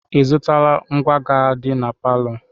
Ị zụtala ngwá ga-adị na palọ?